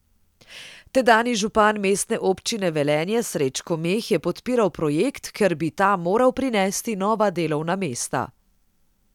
Tedanji župan Mestne občine Velenje Srečko Meh je podpiral projekt, ker bi ta moral prinesti nova delovna mesta.